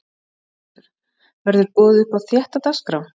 Höskuldur: Verður boðið upp á þétta dagskrá?